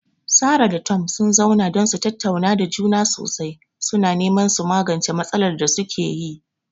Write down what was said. Sarah da Tom sun zauna don su tattauna da juna sosai, suna neman su magance matsalar da suke yi.